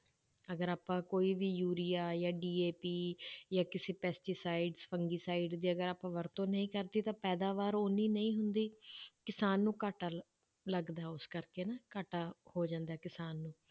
ਅਗਰ ਆਪਾਂ ਕੋਈ ਵੀ ਯੂਰੀਆ ਜਾਂ DAP ਜਾਂ ਕਿਸੇ pesticide fungicide ਜੇ ਅਗਰ ਆਪਾਂ ਵਰਤੋਂ ਨਹੀਂ ਕਰਦੇ ਤਾਂ ਪੈਦਾਵਾਰ ਓਨੀ ਨਹੀਂ ਹੁੰਦੀ ਕਿਸਾਨ ਨੂੰ ਘਾਟਾ ਲੱਗਦਾ ਹੈ ਉਸ ਕਰਕੇ ਨਾ ਘਾਟਾ ਹੋ ਜਾਂਦਾ ਹੈ ਕਿਸਾਨ ਨੂੰ